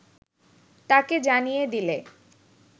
তাকে জানিয়ে দিলে